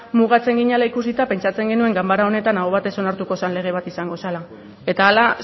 mugatzen ginela ikusita pentsatzen genuen ganbara honetan aho batez onartuko zen lege bat izango zela eta hala